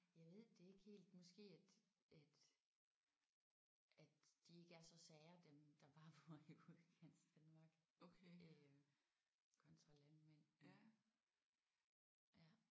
Jeg ved det ikke helt måske at at at de ikke er så sære dem der bare bor i Udkantsdanmark øh kontra landmænd men ja